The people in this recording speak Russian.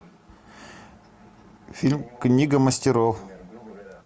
фильм книга мастеров